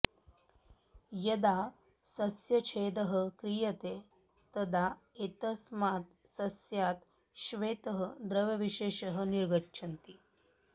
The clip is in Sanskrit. यदा सस्यछेदः क्रियते तदा एतस्मात् सस्यात् श्वेतः द्रवविशेषः निर्गच्छति